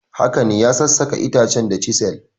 Haka ne, ya sassaka itacen da chisel.